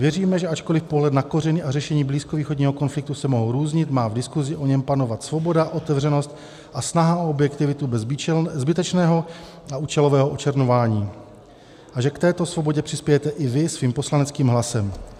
Věříme, že ačkoli pohled na kořeny a řešení blízkovýchodního konfliktu se mohou různit, má v diskusi o něm panovat svoboda, otevřenost a snaha o objektivitu bez zbytečného a účelového očerňování a že k této svobodě přispějete i Vy svým poslaneckým hlasem.